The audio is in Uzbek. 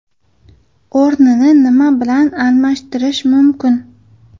O‘rnini nima bilan almashtirish mumkin?